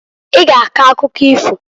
I g'a akọ akụkọ ifoǃ